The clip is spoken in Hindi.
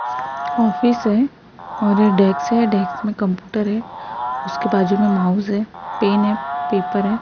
ऑफिस है और डेक्स में कंप्यूटर है उसके बाजू में माउस है पेन है पेपर है।